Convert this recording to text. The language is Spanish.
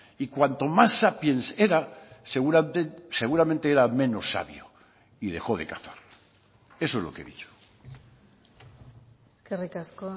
y cuanto más sapiens era seguramente era menos sabio y dejó de cazar eso es lo que he dicho eskerrik asko